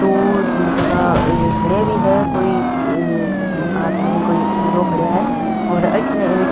दो जगह अ खड़ा भी है कोई आदमी कोई लोग खड़ा है और अठन एक --